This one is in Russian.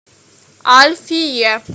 альфие